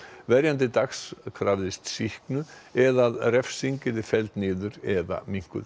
verjandi Dags krafðist sýknu eða að refsing yrði felld niður eða minnkuð